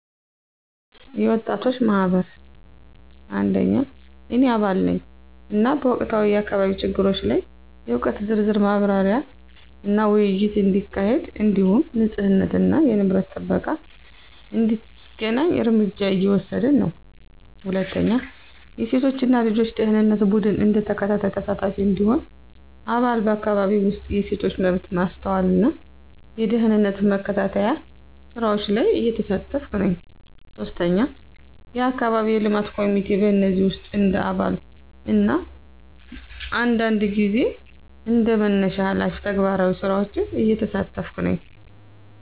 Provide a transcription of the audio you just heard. የወጣቶች ማህበር – እኔ አባል ነኝ፣ እና በወቅታዊ የአካባቢ ችግሮች ላይ የእውቀት ዝርዝር ማብራሪያና ውይይት እንዲካሄድ እንዲሁም ንፁህነትና የንብረት ጥበቃ እንዲተገናኝ እርምጃ እየወሰድን ነን። 2. የሴቶች እና ልጆች ደኅንነት ቡድን – እንደ ተከታታይ ተሳታፊ እንዲሁም አባል፣ በአካባቢው ውስጥ የሴቶች መብት ማስተዋልና የደህንነት መከታተያ ስራዎች ላይ እየተሳተፍኩ ነኝ። 3. የአካባቢ የልማት ኮሚቴ – በእነዚህ ውስጥ እንደ አባል እና አንዳንድ ጊዜ እንደ መነሻ ሃላፊ ተግባራዊ ስራዎችን እየተሳተፍኩ ነኝ።